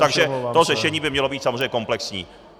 Takže to řešení by mělo být samozřejmě komplexní.